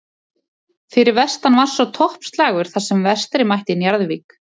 Fyrir vestan var svo toppslagur þar sem Vestri mætti Njarðvík.